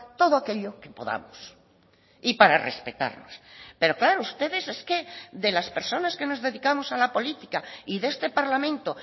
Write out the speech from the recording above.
todo aquello que podamos y para respetarnos pero claro ustedes es que de las personas que nos dedicamos a la política y de este parlamento